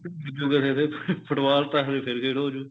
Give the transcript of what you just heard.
ਖੇਡ ਦੇ football ਤਾਂ ਹਜੇ ਫੇਰ ਖੇਡ ਹੋਜੂ